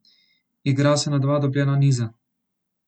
Igra se na dva dobljena niza.